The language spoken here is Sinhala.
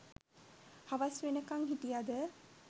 හවස් වෙනකං හිටියද